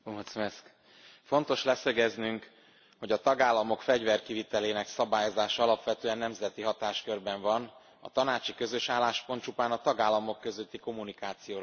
Fontos leszögeznünk, hogy a tagállamok fegyverkivitelének szabályozása alapvetően nemzeti hatáskörben van. A tanácsi közös álláspont csupán a tagállamok közötti kommunikációról rendelkezik.